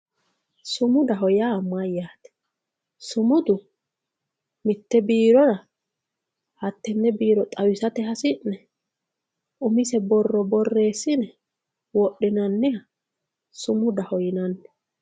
Sumudaho ya mayate sumudu mitte birora hatene biro xawisatte hasine umise boro boresinne wodhinaniha sumudaho yinanni